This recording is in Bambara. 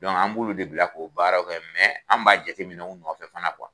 Dɔnku an b'olu de bila k'o baaraw kɛ mɛ an b'a jate minɛ u nɔfɛ fana kuwa